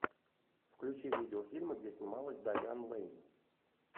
включи видеофильмы где снималась дайан лэйн